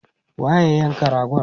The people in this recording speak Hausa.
waye ya yanka ragon?